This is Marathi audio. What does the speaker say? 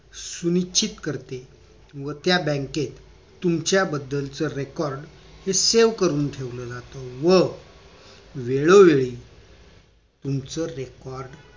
सुनिश्चित करते व त्या बँकेत तुमच्या बद्दलच record हे save करून ठेवलं जात व वेळोवेळी तुमचं record